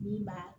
Min b'a